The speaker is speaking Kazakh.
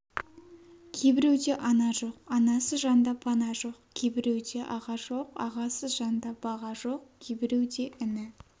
кейбіреуде ана жоқ анасыз жанда пана жоқ кейбіреуде аға жоқ ағасыз жанда баға жоқ кейбіреуде іні